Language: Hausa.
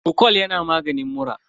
frocol yana maganin mura.